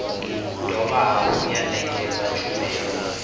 dovha hafhu ya ṋekedza tshumelo